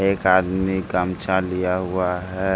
एक आदमी गमछा लिया हुआ है।